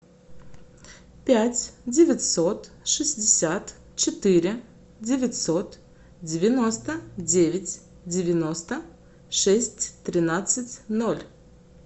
пять девятьсот шестьдесят четыре девятьсот девяносто девять девяносто шесть тринадцать ноль